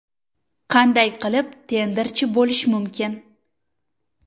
Qanday qilib tenderchi bo‘lish mumkin?